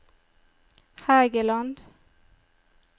Hægeland